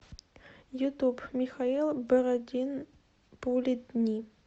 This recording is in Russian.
ютуб михаил бородин пули дни